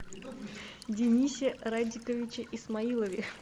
денисе радиковиче исмаилове